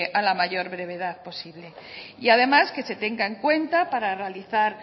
a la mayor brevedad posible y además que se tenga en cuenta para realizar